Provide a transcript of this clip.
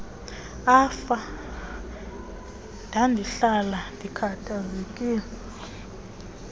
afa ndandihlala ndikhathazekile